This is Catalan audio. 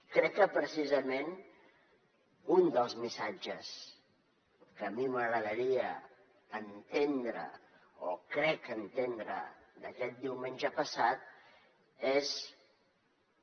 crec que precisament un dels missatges que a mi m’agradaria entendre o crec entendre d’aquest diumenge passat és que